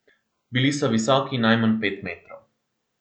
Bili so visoki najmanj pet metrov.